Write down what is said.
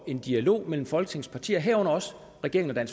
en dialog mellem folketingets partier herunder også regeringen og